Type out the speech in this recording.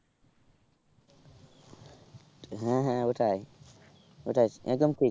হ্যাঁ হ্যাঁ ওটাই ওটাই একদম ঠিক